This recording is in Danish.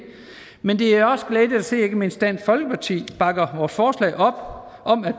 men det er også glædeligt at se at ikke mindst dansk folkeparti bakker vores forslag op og